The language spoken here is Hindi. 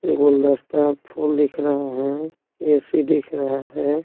गुलदस्ता फूल दिख रहे है ए_सी दिख रहा है।